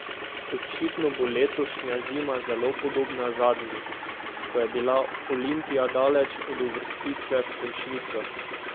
Očitno bo letošnja zima zelo podobna zadnji, ko je bila Olimpija daleč od uvrstitve v končnico.